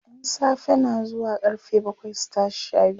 ƴan safe na zuwa karfe bakwai su tashi Sha biyu